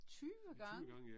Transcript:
20 gange?